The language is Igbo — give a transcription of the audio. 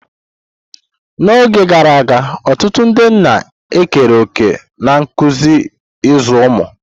N'oge gara aga, ọtụtụ ndị nna ekere òkè na nkuzi ịzụ ụmụ.